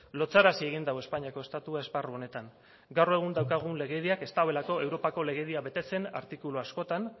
lotsarazi egin du espainiako estatua esparru honetan gaur egun daukagun legediak ez duelako europako legedia betetzen artikulu askotan